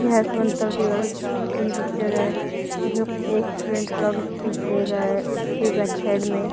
यह स्वतंत्रता दिवस की पिक्चर है इसमें एक स्टूडेंट खड़ा होके स्पीच दे रहा है उसके बैक साइड में--